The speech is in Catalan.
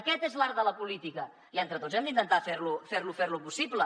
aquest és l’art de la política i entre tots hem d’intentar fer lo possible